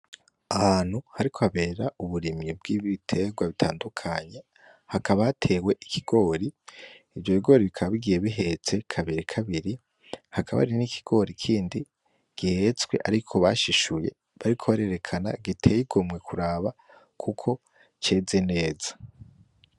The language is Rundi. Ahantu hariko habera uburimyi bw'ibitegwa bitandukanye, hakaba hatewe ikigori, ivyo bigori bikaba bigiye bihetse kabiri kabiri, hakaba hari n'ikigori kindi gihetswe ariko bashishuye bariko barerekana giteye igomwe kuraba kuko ceze neza.